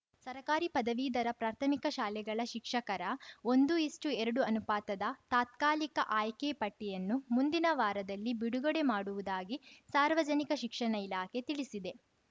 ಸರಕಾರಿ ಪದವೀಧರ ಪ್ರಾಥಮಿಕ ಶಾಲೆಗಳ ಶಿಕ್ಷಕರ ಒಂದು ಈಸ್ಟುಎರಡು ಅನುಪಾತದ ತಾತ್ಕಾಲಿಕ ಆಯ್ಕೆ ಪಟ್ಟಿಯನ್ನು ಮುಂದಿನ ವಾರದಲ್ಲಿ ಬಿಡುಗಡೆ ಮಾಡುವುದಾಗಿ ಸಾರ್ವಜನಿಕ ಶಿಕ್ಷಣ ಇಲಾಖೆ ತಿಳಿಸಿದೆ